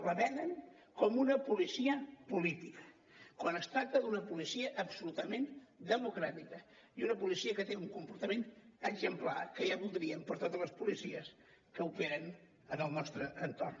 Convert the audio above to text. la venen com una policia política quan es tracta d’una policia absolutament democràtica i una policia que té un comportament exemplar que ja voldrien per a totes les policies que operen en el nostre entorn